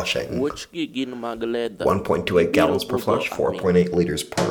wuoch gi gin mag letha, gibiro budho aming'a